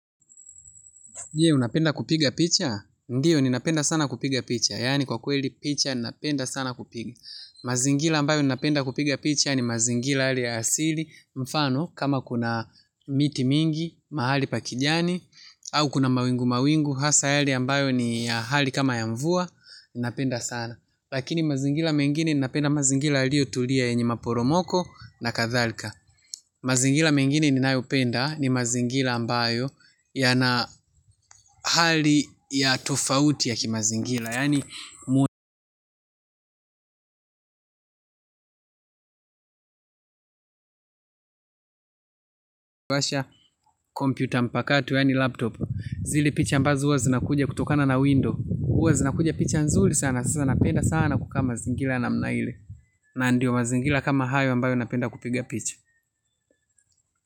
Je, unapenda kupiga picha ndiyo, ninapenda sana kupiga picha. Yani kwa kweli picha, ninapenda sana kupiga. Mazingira ambayo ninapenda kupiga picha ni mazingira hale ya asili. Mfano, kama kuna miti mingi, mahali pa kijani, au kuna mawingu mawingu, hasa hali ambayo ni ya hali kama ya mvua, ninapenda sana. Lakini mazingira mengini ninapenda mazingira yalio tulia yenye maporomoko na kathalka. Mazingira mengine ninayo penda ni mazingira ambayo yana hali ya tofauti yaki mazingira yani ukiwasha kompyuta mpaka tu yani laptop. Zile picha ambazo huwa zinakuja kutokana na window huwa zinakuja picha nzuri sana sana napenda sana kukaa mazingira namna ile. Na ndio mazingira kama hayo ambayo napenda kupiga picha.